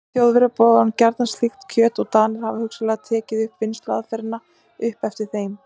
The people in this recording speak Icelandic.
Þjóðverjar borða gjarnan slíkt kjöt og Danir hafa hugsanlega tekið vinnsluaðferðina upp eftir þeim.